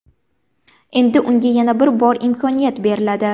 Endi unga yana bir bor imkoniyat beriladi.